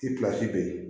I bɛ yen